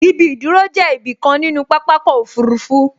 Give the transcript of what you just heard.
Ibi ìdúró jẹ́ ibi kan nínú pápákọ̀ òfurufú